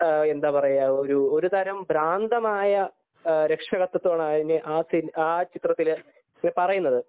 എന്താ പറയാ ഒരു ഒരുതരം ഭ്രാന്തമായ രക്ഷാകർതൃത്ത്വമാണ് ആ ചിത്രത്തില് പറയുന്നത്